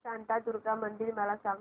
शांतादुर्गा मंदिर मला सांग